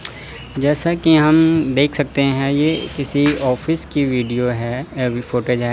जैसा की हम देख सकते हैं ये किसी ऑफिस की वीडियो है या भी फुटेज है।